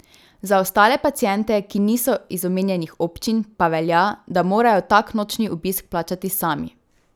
Za ostale paciente, ki niso iz omenjenih občin, pa velja, da morajo tak nočni obisk plačati sami.